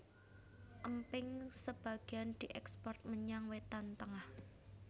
Emping sebagéan diékspor menyang Wétan Tengah